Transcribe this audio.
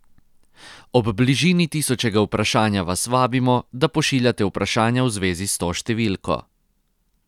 Ob bližini tisočega vprašanja vas vabimo, da pošiljate vprašanja v zvezi s to številko.